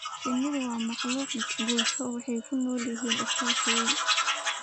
Shinnidu waa makhluuq bulsho, waxay ku nool yihiin iskaashi weyn.